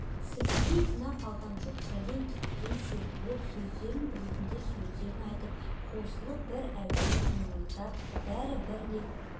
сілтідей тына қалған жұрт сәлден кейін серпіліп сөзін білетіндер сөзін айтып қосылып бір әуенін ыңылдап бәрі бір леп